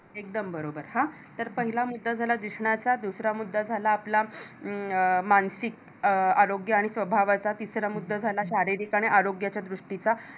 एकदम बरोबर! हा पहिला मुद्दा झाला दिसण्याचा, दुसरा मुद्दा झाला मानसिक आरोग्य आणि स्वभावाचा आणि तिसरा मुद्दा झाला शारीरिक आणि आरोग्याच्या दृष्टीचा